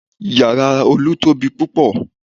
Yàrá Olu tóbi púpọ̀